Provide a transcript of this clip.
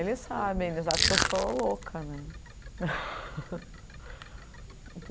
Eles sabem, eles acham que eu sou louca, né?